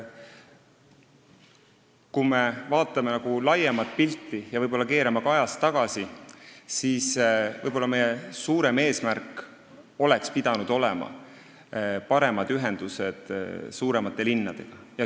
Kui me vaatame laiemat pilti ja võib-olla ka ajas tagasi, siis ma olen täiesti nõus sellega, et meie suurem eesmärk oleks pidanud olema paremad ühendused suuremate linnadega.